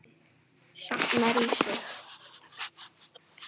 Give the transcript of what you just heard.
Safnar í sig.